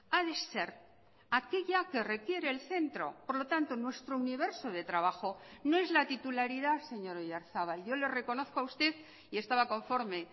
ha de ser aquella que requiere el centro por lo tanto nuestro universo de trabajo no es la titularidad señor oyarzabal yo le reconozco a usted y estaba conforme